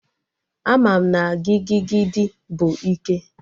Ama m na gigigidi bụ ike